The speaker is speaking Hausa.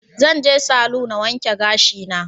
Zan je salu na wanke gashi na